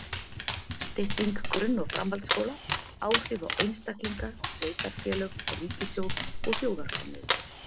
Stytting grunn- og framhaldsskóla: Áhrif á einstaklinga, sveitarfélög, ríkissjóð og þjóðarframleiðslu.